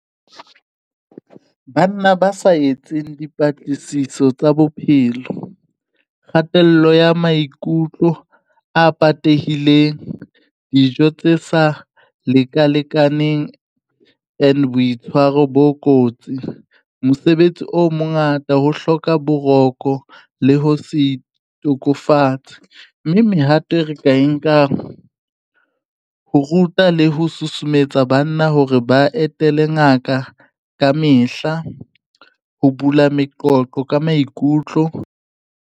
Banna ba sa etseng dipatlisiso tsa bophelo, kgatello ya maikutlo a patehileng, dijo tse sa lekalekaneng, and boitshwaro bo kotsi mosebetsi o mongata, ho hloka boroko le ho se itokofatse, mme mehato e re ka e nkang ho ruta le ho susumetsa banna hore ba etele ngaka ka mehla ho bula meqoqo ka maikutlo.